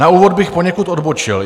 Na úvod bych poněkud odbočil.